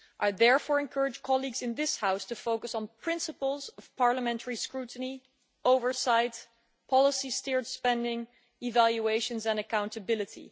I therefore encourage colleagues in this House to focus on the principles of parliamentary scrutiny, oversight, policy steered spending, evaluations and accountability.